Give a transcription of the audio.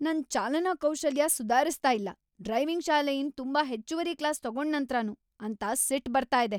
ನನ್ ಚಾಲನಾ ಕೌಶಲ್ಯ ಸುದಾರಿಸ್ತಾ ಇಲ್ಲ ಡ್ರೈವಿಂಗ್ ಶಾಲೆಯಿಂದ್ ತುಂಬಾ ಹೆಚ್ಚುವರಿ ಕ್ಲಾಸ್ ತಗೊಂಡ್ ನಂತ್ರನೂ ಅಂತ ಸಿಟ್ ಬರ್ತಾ ಇದೆ.